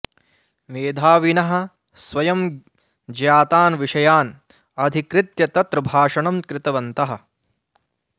मेधाविनः स्वयं ज्ञातान् विषयान् अधिकृत्य तत्र भाषणं कृतवन्तः